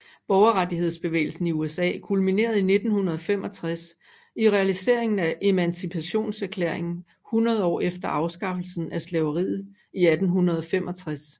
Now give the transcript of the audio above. Borgerrettighedsbevægelsen i USA kulminerede i 1965 i realiseringen af Emancipationserklæringen 100 år efter afskaffelsen af slaveriet i 1865